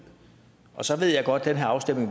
og så ved jeg godt at den her afstemning